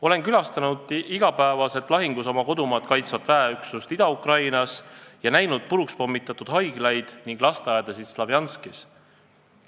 Olen külastanud igapäevaselt lahingus oma kodumaad kaitsvat väeüksust Ida-Ukrainas ning näinud puruks pommitatud haiglaid ja lasteaedasid Slovjanskis.